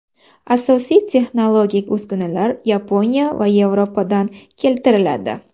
Asosiy texnologik uskunalar Yaponiya va Yevropadan keltiriladi.